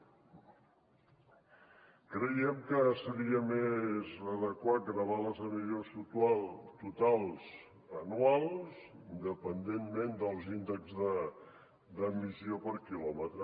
creiem que seria més adequat gravar les emissions totals anuals independentment dels índexs d’emissió per quilòmetre